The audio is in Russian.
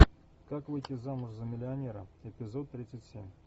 как выйти замуж за миллионера эпизод тридцать семь